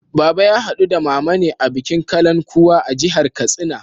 Baba ya haɗu da Mama ne a bikin Kalankuwa a jihar Katsina.